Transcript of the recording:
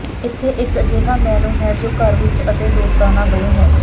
ਇੱਥੇ ਇਕ ਅਜਿਹਾ ਮੇਨੂ ਹੈ ਜੋ ਘਰ ਵਿਚ ਅਤੇ ਦੋਸਤਾਨਾ ਦੋਵੇਂ ਹੈ